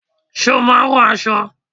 Ṣé o máa ń rán aṣọ?